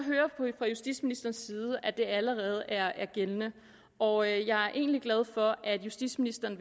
fra justitsministerens side at det allerede er er gældende og jeg er egentlig glad for at justitsministeren